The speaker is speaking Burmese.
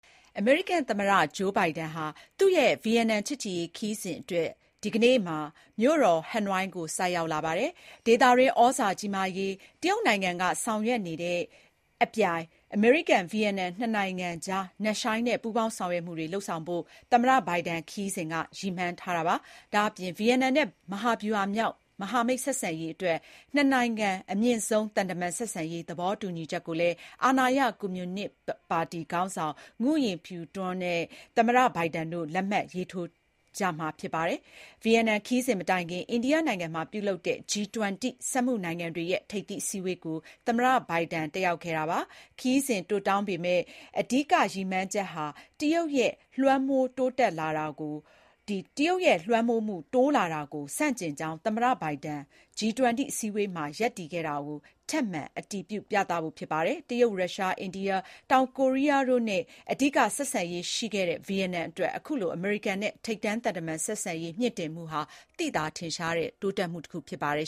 အမေရိကန်သမ္မတ ဂျိုဘိုင်ဒန်ဟာ သူ့ရဲ့ ဗီယက်နမ်ချစ်ကြည်ရေးခရီးစဉ်အတွက် ဒီကနေ့မှာ မြို့တော်ဟနွိုင်းကို ဆိုက်ရောက်လာပါတယ်။ ဒေသတွင်း သြဇာကြီးမားလာရေး တရုတ်နိုင်ငံကဆောင်ရွက်နေတာနဲ့အပြိုင် အမေရိကန်-ဗီယက်နမ် နှစ်နိုင်ငံကြား နက်ရှိုင်းတဲ့ ပူးပေါင်းဆောင်ရွက်မှုတွေ လုပ်ဆောင်ဖို့ သမ္မတ ဘိုင်ဒန်ခရီးစဉ်က ရည်မှန်းထားတာပါ။ ဒါ့ပြင် ဗီယက်နမ်နဲ့ မဟာဗျူဟာမြောက် မဟာမိတ်ဆက်ဆံရေးအတွက် နှစ်နိုင်ငံ အမြင့်ဆုံးသံတမန်ဆက်ဆံရေး သဘောတူညီချက်ကိုလည်း အာဏာရ ကွန်မြူနစ်ပါတီခေါင်းဆောင် Nguyen Phu Trong နဲ့ သမ္မတဘိုင်ဒန်တို့ လက်မှတ်ရေးထိုးကြမှာဖြစ်ပါတယ်။ ဗီယက်နမ်ခရီးစဉ်မတိုင်ခင် အိန္ဒိယနိုင်ငံမှာပြုလုပ်တဲ့ G-20 စက်မှုနိုင်ငံတွေရဲ့ ထိပ်သီးအစည်းအဝေးကို သမ္မတဘိုင်ဒန်တက်ရောက်ခဲ့တာပါ။ ခရီးစဉ် တိုတောင်းပေမယ့် အဓိကရည်မှန်းချက်ဟာ တရုတ်ရဲ့ လွှမ်းမိုးမှုတိုးလာတာကို ဆန့်ကျင်ကြောင်း သမ္မတဘိုင်ဒန် G-20 အစည်းအဝေးမှာ ရပ်တည်ခဲ့တာကို ထပ်မံ အတည်ပြုပြသဖို့ဖြစ်ပါတယ်။ တရုတ်၊ ရုရှား၊ အိန္ဒိယ၊ တောင်ကိုရီးယားတို့နဲ့သာ အဓိက ဆက်ဆံရေးရှိခဲ့တဲ့ ဗီယက်နမ်အတွက် အခုလို အမေရိကန်နဲ့ ထိပ်တန်းသံတမန်ဆက်ဆံရေးမြှင့်တင်ဟာ သိသာထင်ရှားတဲ့ တိုးတက်မှုဖြစ်ပါတယ်